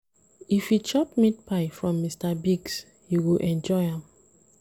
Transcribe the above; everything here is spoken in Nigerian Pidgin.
If you chop meat pie from Mr Biggs, you go enjoy am.